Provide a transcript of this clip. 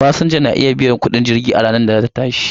Fasinja na iya biyan kudin jirgi a ranar da za ta tashi.